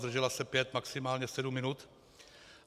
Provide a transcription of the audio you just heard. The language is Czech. Zdržela se pět, maximálně sedm minut.